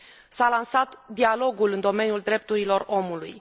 S a lansat dialogul în domeniul drepturilor omului.